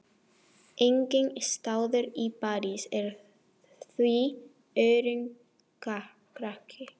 Enginn staður í París er því öruggari.